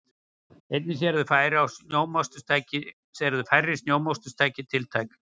Einnig séu færri snjómoksturstæki tiltæk